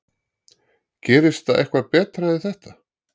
Gerist það eitthvað betra en þetta?